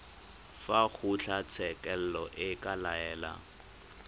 fa kgotlatshekelo e ka laela